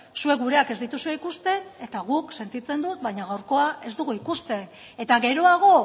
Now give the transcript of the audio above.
zuek gureak ez dituzue ikusten eta guk sentitzen dut baina gaurkoa ez dugu ikusten eta geroago